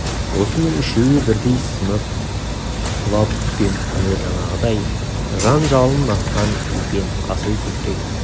осының үшеуі бірдей сынып құлап түскен күні жаңағыдай жан жалынын атқан екен асыл көкірек